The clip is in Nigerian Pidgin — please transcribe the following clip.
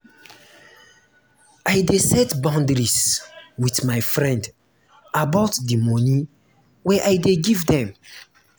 i dey set boundaries wit my friend about di moni wey i dey give dem.